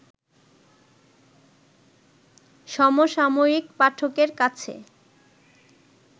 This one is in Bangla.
সমসাময়িক পাঠকের কাছে